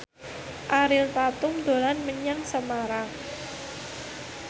Ariel Tatum dolan menyang Semarang